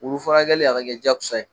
Wulu furakɛli a ka kɛ jakosa ye.